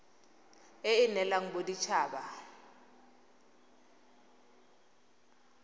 e e neelwang modit haba